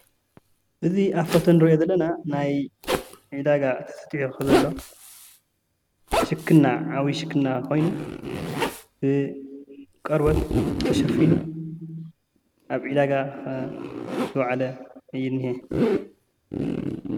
እዚ ኣብ ሙስሊም ምስሊ ልራኦልናዮ አብ ትምርቲ ናይ ኮምፒተር ትምርቲ ለርኢ ብዙሓት ኮምፒተራት እና ጠረፔዛ ወምበራት ለለውዎ ለርኢ ምስሊ እዩ ማለት እዩ ።